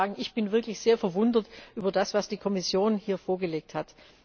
Ich muss Ihnen sagen, ich bin wirklich sehr verwundert über das, was die Kommission hier vorgelegt hat.